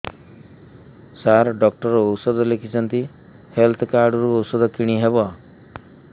ସାର doctor ଔଷଧ ଲେଖିଛନ୍ତି health card ରୁ ଔଷଧ କିଣି ହେବ